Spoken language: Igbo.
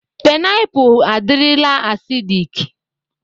Pịnapụ adirila asidịk.